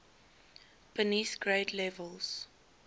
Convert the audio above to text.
beneath grade levels